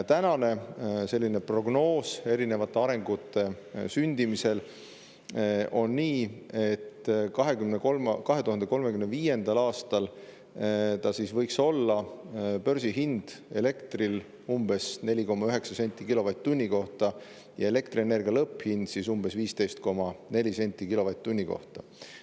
Tänane erinevate arengute sündimise prognoos on selline, et 2035. aastal võiks elektri börsihind olla umbes 4,9 senti kilovatt-tunni kohta ja elektrienergia lõpphind umbes 15,4 senti kilovatt-tunni kohta.